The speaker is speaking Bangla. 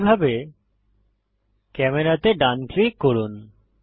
একইভাবে ক্যামেরা তে ডান ক্লিক করুন